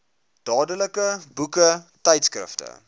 dadelik boeke tydskrifte